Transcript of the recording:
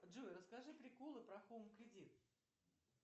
джой расскажи приколы про хоум кредит